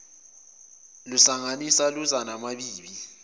lusangenisa luza namabibi